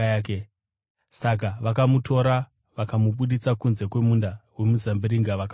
Saka vakamutora vakamubudisa kunze kwemunda wemizambiringa vakamuuraya.